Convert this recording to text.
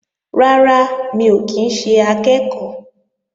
Rárá, mi ò kí ń ṣe akẹ́ẹ̀kọ́